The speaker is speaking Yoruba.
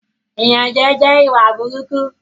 Ìyànjẹ jẹ ìwà burúkú